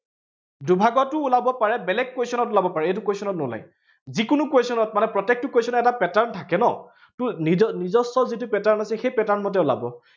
দুভাগতো ওলাব পাৰে, বেলেগ question ত ওলাব পাৰে, এইটো question নোলায়। যিকোনো question ত মানে প্ৰত্যেকটো question ৰ এটা pattern থাকে ন, ত নিজ নিজস্ব যিটো pattern আছে, সেই pattern মতে ওলাব পাৰে